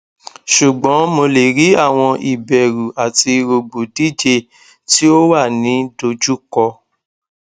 ṣugbọn mo le ri awọn iberu ati rogbodije ti o wa ni dojuko